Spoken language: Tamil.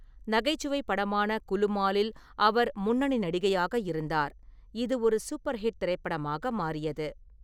நகைச்சுவை படமான குலுமாலில் அவர் முன்னணி நடிகையாக இருந்தார், இது ஒரு சூப்பர்ஹிட் திரைப்படமாக மாறியது.